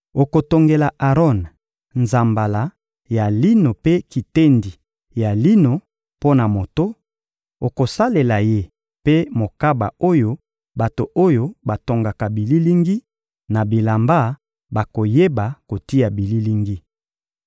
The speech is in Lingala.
Okotongela Aron nzambala ya lino mpe kitendi ya lino mpo na moto; okosalela ye mpe mokaba oyo bato oyo batongaka bililingi na bilamba bakoyeba kotia bililingi.